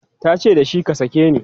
tace da shi"ka sake ni!"